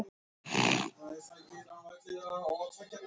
Þú kinkar kolli.